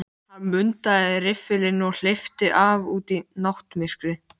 Kaffihúsin státa enn af frægum nöfnum.